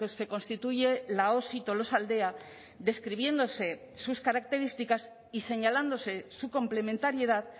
se constituye la osi tolosaldea describiéndose sus características y señalándose su complementariedad